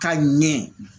Ka ɲɛ